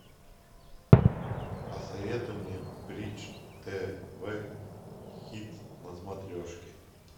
посоветуй мне бридж тв хит на смотрешке